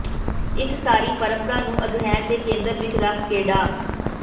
ਇਸ ਸਾਰੀ ਪਰੰਪਰਾ ਨੂੰ ਅਧਿਐਨ ਦੇ ਕੇਂਦਰ ਵਿਚ ਰੱਖ ਕੇ ਡਾ